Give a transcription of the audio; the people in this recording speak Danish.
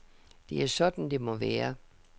Det er sådan, det må være.